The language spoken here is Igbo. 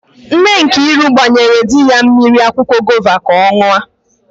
Nne Nkiru gbanyere di ya mmiri akwụkwọ gova ka ọ n̄ụọ.